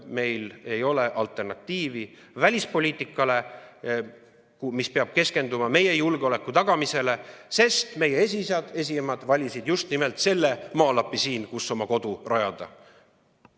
Meil ei ole alternatiivi välispoliitikale, mis peab keskenduma meie julgeoleku tagamisele, sest meie esiisad ja esiemad valisid just nimelt selle maalapi siin, kuhu oma kodu rajada.